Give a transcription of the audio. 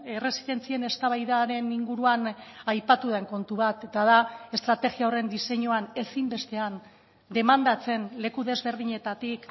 erresidentzien eztabaidaren inguruan aipatu den kontu bat eta da estrategia horren diseinuan ezinbestean demandatzen leku desberdinetatik